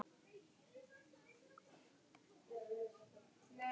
Hún elskaði mig af öllu hjarta.